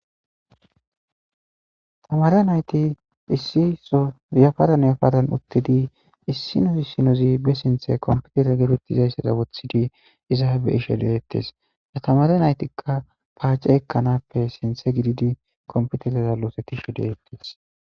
Tamare nayt isizora utid issino issinoz be sinthen computer getetizaysa iza beyishe detes, ha ta mare naytika pace ekanappe sinthe gidid computerera losetishe de'etes.